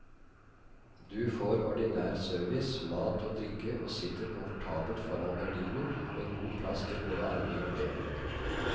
Du får ordinær service, mat og drikke og sitter komfortabelt foran gardinen, med god plass til både armer og ben.